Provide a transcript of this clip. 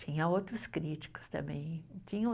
Tinha outros críticos também. Tinha um